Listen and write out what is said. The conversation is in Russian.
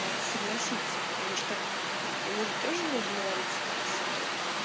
на это согласится потому что ему же тоже нужно вариться как то с этого